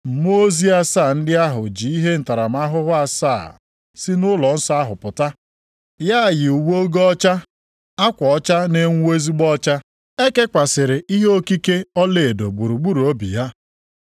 Mmụọ ozi asaa ndị ahụ ji ihe ntaramahụhụ asaa sị nʼụlọnsọ ahụ pụta. Ha yi uwe ogho ọcha, akwa ọcha na-enwu ezigbo ọcha. E kekwasịrị ihe okike ọlaedo gburugburu obi ha.